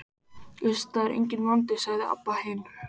Iss, það er enginn vandi, sagði Abba hin.